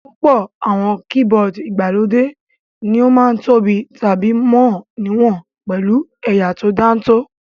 Púpọ̀ àwọn keyboard ìgbàlódé ní ó ma ń tóbi tàbí mọ níwọ̀n pẹ̀lú ẹ̀yà tó dáńtọ́